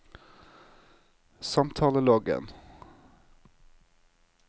samtaleloggen